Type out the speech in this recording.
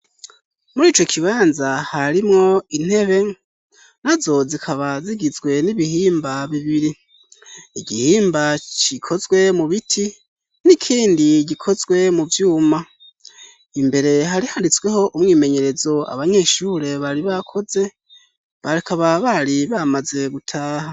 Murico kibanza harimwo intebe nazo zikaba zigizwe n'ibihimba bibiri, igihimba gikozwe mu biti n'ikindi gikozwe muvyuma, imbere hari handitsweho umwimenyerezo abanyeshure bari bakoze bakaba bari bamaze gutaha.